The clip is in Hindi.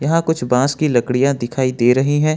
यहां कुछ बास की लकड़ियां दिखाई दे रही है।